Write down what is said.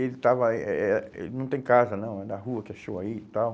Ele estava eh eh eh ele não tem casa não, é da rua que achou aí e tal.